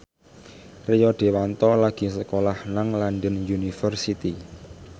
Rio Dewanto lagi sekolah nang London University